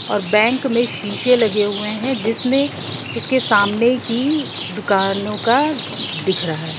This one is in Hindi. और बैंक में शीशे लगे हुए है जिसमे उसके सामने की दुकानों का दिख रहा है।